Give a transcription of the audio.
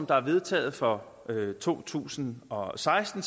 der er vedtaget for to tusind og seksten